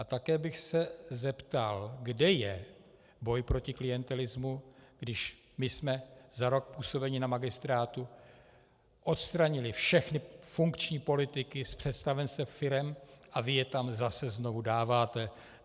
A také bych se zeptal, kde je boj proti klientelismu, když my jsme za rok působení na magistrátu odstranili všechny funkční politiky z představenstev firem a vy je tam zase znovu dáváte.